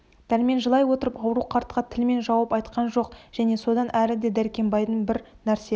дәрмен жылай отырып ауру қартқа тілмен жауап айтқан жоқ және содан әрі де дәркембайдың бір нәрсе